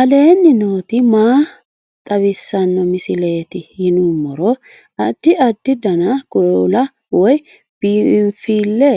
aleenni nooti maa xawisanno misileeti yinummoro addi addi dananna kuula woy biinsille